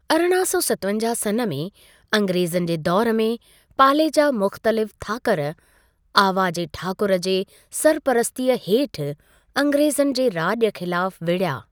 अरिड़हां सौ सतवंजाहु सन् में अंग्रेज़नि जे दौर में, पाले जा मुख़्तलिफ़ थाकर, आवा जे ठाकुरु जे सरपरस्तीअ हेठि अंग्रेज़नि जे राॼु ख़िलाफ़ु विढ़या।